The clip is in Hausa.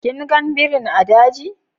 Kin gan birin a daji?